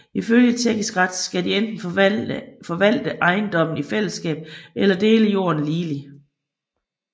Ifølge tjekkisk ret skal de enten forvalte ejendommen i fællesskab eller dele jorden ligeligt